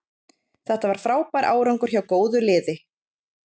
Þetta var frábær árangur hjá góðu liði.